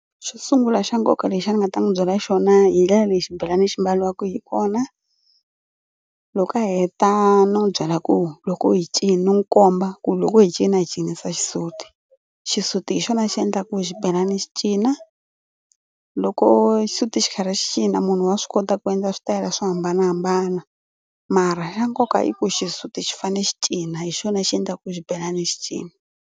Xo sungula xa nkoka lexi a ni nga ta n'wi byela xona hi ndlela leyi xibelani xi mbariwaka hi kona. Loko a heta ni n'wi byela ku loko hi cini ni n'wi komba ku loko hi cina hi cinisa xisuti. Xisuti hi xona xi endlaka ku xibelana xi cina. Loko xisuti xi karhi xi cina munhu wa swi kota ku endla switayela swo hambanahambana mara xa nkoka i ku xisuti xi fanele xi cina hi xona xi endlaka ku xibelani xi cina.